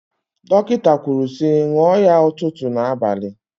Dọkịta kwuru sị ṅụọ ya ụtụtụ na abalị.